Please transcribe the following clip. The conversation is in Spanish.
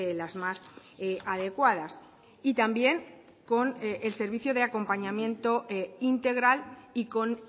las más adecuadas y también con el servicio de acompañamiento integral y con